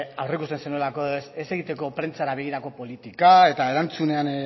aurreikusten zenuelako ez egiteko prentsara begirako politika eta erantzunean